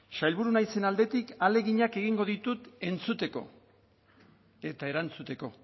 sailburu naizen aldetik ahaleginak egingo ditu entzuteko eta erantzuteko